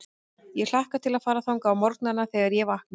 Ég hlakka til að fara þangað á morgnana, þegar ég vakna.